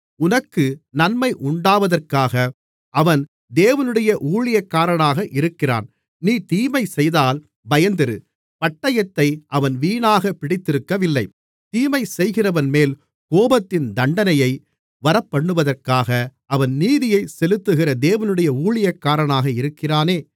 உனக்கு நன்மை உண்டாவதற்காக அவன் தேவனுடைய ஊழியக்காரனாக இருக்கிறான் நீ தீமைசெய்தால் பயந்திரு பட்டயத்தை அவன் வீணாகப் பிடித்திருக்கவில்லை தீமைசெய்கிறவன்மேல் கோபத்தின் தண்டனையை வரப்பண்ணுவதற்காக அவன் நீதியைச் செலுத்துகிற தேவனுடைய ஊழியக்காரனாக இருக்கிறானே